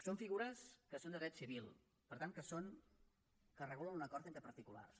són figures que són de dret civil per tant que regulen un acord entre particulars